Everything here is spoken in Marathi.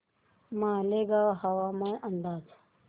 मालेगाव हवामान अंदाज